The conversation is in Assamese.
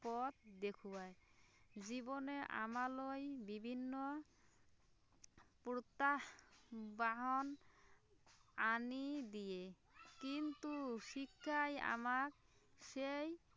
পথ দেখুৱাই জীৱনে আমালৈ বিভিন্ন প্ৰত্য়াহ্বান আনি দিয়ে কিন্তু শিক্ষাই আমাক সেই